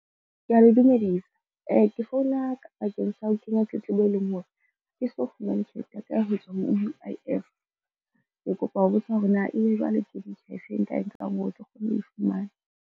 Kea le dumedisa. Ke founa bakeng sa ho kenya tletlebo, e leng hore ha ke so fumane tjhelete ya ka ya ho tswa ho U_I_F. Ke kopa ho botsa hore na e be jwale ke metjha e feng e nka e nkang hore ke kgone ho e fumana.